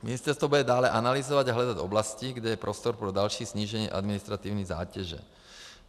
Ministerstvo bude dále analyzovat a hledat oblasti, kde je prostor pro další snížení administrativní zátěže.